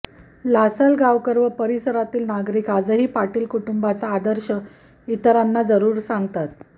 लासलगावकर व परिसरातील नागरीक आजही पाटील कुटुंबाचा आदर्श इतरांना जरूर सांगतात